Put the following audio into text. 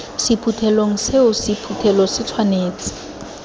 sephuthelong seo sephuthelo se tshwanetse